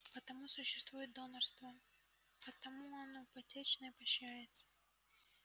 потому существует донорство потому оно почётно и поощряется